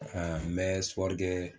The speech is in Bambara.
n bɛ kɛ